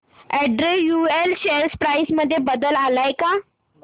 Andrew Yule share price मध्ये बदल आलाय का